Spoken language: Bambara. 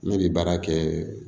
Ne bɛ baara kɛ